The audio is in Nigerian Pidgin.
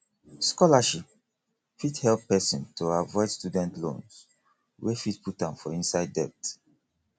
scholarship fit help person to avoid student loans wey fit put am for inside debt